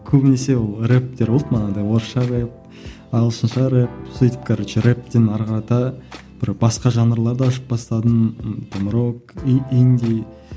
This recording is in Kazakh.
көбінесе ол рэптер болды манадай орысша рэп ағылшынша рэп сөйтіп короче рэптен әрі қарата бір басқа жанрларды бастадым там рок инди